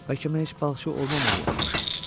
Bəlkə mən heç balıqçı olmamalıymış.